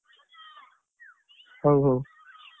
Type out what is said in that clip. ହଉ ହଉ